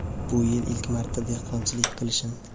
Bu yil ilk marta dehqonchilik qilishim.